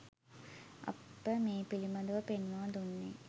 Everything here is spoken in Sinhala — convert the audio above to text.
අප මේ පිළිබඳ ව පෙන්වා දුන්නේ